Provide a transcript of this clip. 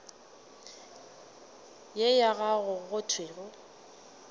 ye ya gago go thwego